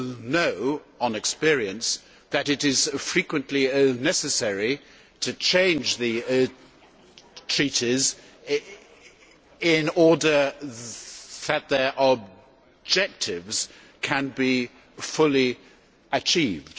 know from experience that it is frequently necessary to change the treaties in order that their objectives can be fully achieved.